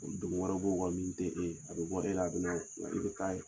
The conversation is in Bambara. wɛrɛ min tɛ e ye a bɛ bɔ e la a bɛ na nka i bɛ